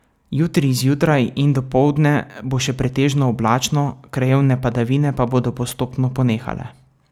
Jutri zjutraj in dopoldne bo še pretežno oblačno, krajevne padavine pa bodo postopno ponehale.